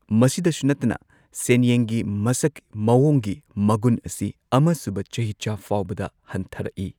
ꯃꯁꯤꯗꯁꯨ ꯅꯠꯇꯅ, ꯁꯦꯟꯌꯦꯟꯒꯤ ꯃꯁꯛ ꯃꯑꯣꯡꯒꯤ ꯃꯒꯨꯟ ꯑꯁꯤ ꯑꯃ ꯁꯨꯕ ꯆꯍꯤꯆꯥ ꯐꯥꯎꯕꯗ ꯍꯟꯊꯔꯛꯏ꯫